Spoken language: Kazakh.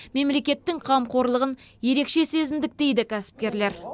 мемлекеттің қамқорлығын ерекше сезіндік дейді кәсіпкерлер